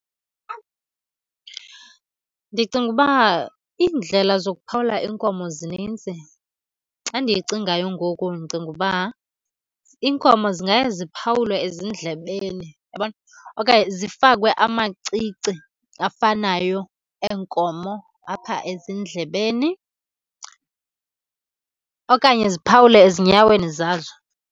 Ndicinga ukuba iindlela zokuphawula iinkomo zininzi. Xa ndiyicingayo ngoku ndicinga uba iinkomo zingaye ziphawulwe ezindlebeni, uyabona? Okanye zifakwe amacici afanayo eenkomo apha ezindlebeni, okanye ziphawule ezinyaweni zazo.